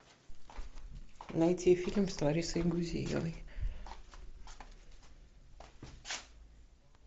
найти фильм с ларисой гузеевой